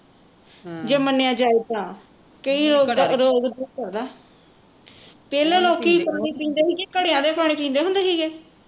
ਜੇ ਮੰਨਿਆ ਜਾਏ ਤਾਂ ਕਿ ਰੋਗ ਦੂਰ ਕਰਦਾ ਆ ਪਹਿਲਾਂ ਲੋਕੀ ਪਾਣੀ ਪੀਂਦੇ ਸੀਗੇ ਘੜੀਆਂ ਦਾ ਹੀ ਪਾਣੀ ਪੀਂਦੇ ਸੀਗੇ